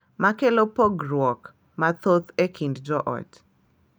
Ma kelo pogruok mathoth e kind joot.